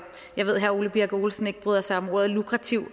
jeg ved herre ole birk olesen ikke bryder sig om ordet lukrativ